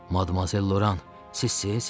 Madmazel Loran, sizsiz?